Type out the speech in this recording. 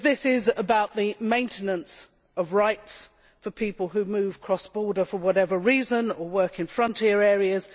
This concerns the maintenance of rights for people who move across borders for whatever reason or who work in border areas.